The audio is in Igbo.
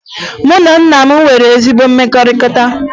Mụ na nna m enweghi ezi mmekọrịta